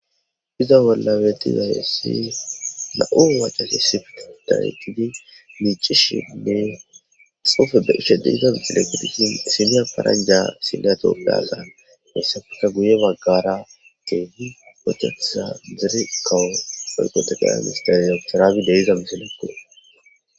iza bolla betizayessi na7u wacasi sifta dayiqidi miicishinne xofe e ishede iza mixilegudishin simiya paranja sillyatobeazaan hessafeta guye baggara teehi ochathesa dire kawo oyqo teqeya mistaayasaraabi de iza misalekko